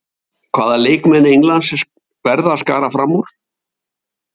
Hvaða leikmann Englands verða að skara fram úr?